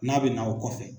N'a bɛ na o kɔfɛ